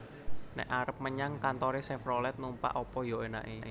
Nek arep menyang kantore Chevrolet numpak opo yo enake